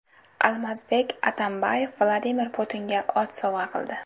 Almazbek Atambayev Vladimir Putinga ot sovg‘a qildi.